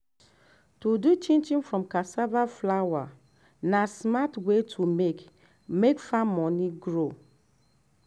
to do chinchin from cassava flour na smart way to make make farm money grow.